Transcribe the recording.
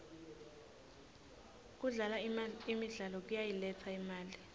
kudlala imidlalo kuyayiletsa imali